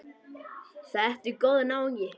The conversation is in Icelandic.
Þetta er góður náungi.